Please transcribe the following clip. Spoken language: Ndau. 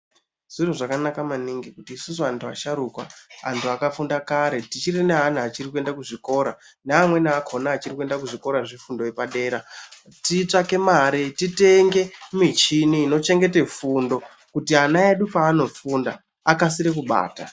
Zviro zvakanaka maningi kuti isusu antu asharuka, tichirinaana achirikuende kuchikora neamweni akhona achirikuenda kuzvikora zvefundo yepadera titsvake mare titenge mishini inochengete fundo kuti ana edu paanofunda akasire kubata